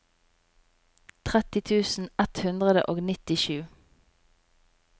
tretti tusen ett hundre og nittisju